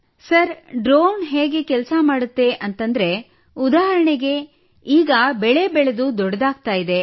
sir drone ಹೇಗೆ ಕೆಲಸ ಮಾಡುತ್ತದೆ ಎಂದರೆ ಉದಾಹರಣೆಗಾಗಿ ಈಗ ಬೆಳೆ ಬೆಳೆದು ದೊಡ್ಡದಾಗುತ್ತಿದೆ